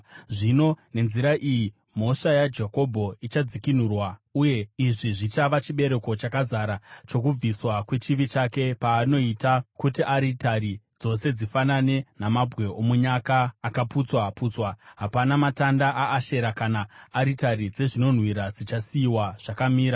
Zvino nenzira iyi, mhosva yaJakobho ichadzikinurwa, uye izvi zvichava chibereko chakazara chokubviswa kwechivi chake: Paanoita kuti aritari dzose dzifanane namabwe omunyaka akaputswa-putswa, hapana matanda aAshera kana aritari dzezvinonhuhwira zvichasiyiwa zvakamira.